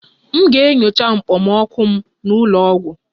M ga-enyocha okpomọkụ m n'ụlọ ọgwụ